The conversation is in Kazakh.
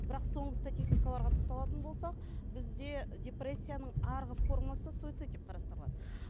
бірақ соңғы статистикаларға тоқталатын болсақ бізде депрессияның арғы формасы суицид деп қарастырылады